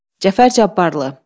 Cəfər Cabbarlı.